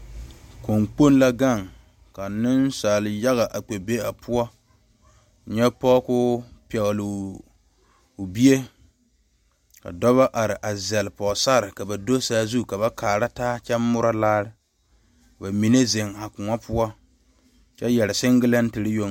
koɔ kpoŋ la gaŋ ka nensaal yaga a kpɛ be a koɔ poɔ, nyɛ pɔge kɔɔ pegeli o bie ka dɔba. are a zel pɔge sarre ka ba do saazu ka ba kaara taa kyɛ mooro laare ba mine zeŋ a koɔ poɔ kyɛ yɛre sengilɛtere yoŋ.